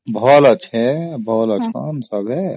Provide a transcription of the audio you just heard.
ଭଲ ଅଛି ଭଲ ଅଛନ୍ତି ସମସ୍ତେ